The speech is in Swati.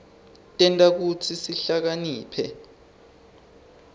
tenta kutsi sihlakaniphe